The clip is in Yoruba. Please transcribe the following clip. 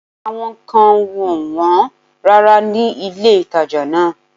Àwọn nǹkan wọn ò wọ́n rárá ní ilé-ìtàjà náà